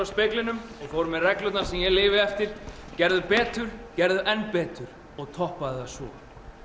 að speglinum með reglurnar sem ég lifi eftir gerðu betur gerðu enn betur og toppaðu það svo